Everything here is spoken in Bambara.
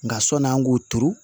Nka sɔnni an k'o turu